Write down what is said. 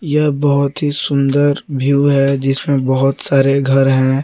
यह बहुत ही सुंदर व्यू है जिसमें बहुत सारे घर हैं।